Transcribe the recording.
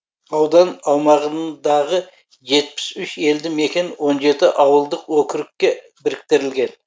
аудан аумағын дағы жетпіс үш елді мекен он жеті ауылдық округке біріктірілген